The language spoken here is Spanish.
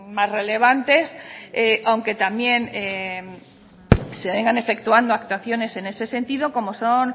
más relevantes aunque también se vengan efectuando actuaciones en este sentido como son